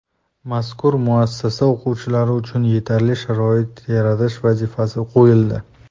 Mazkur muassasa o‘quvchilari uchun yetarli sharoit yaratish vazifasi qo‘yildi.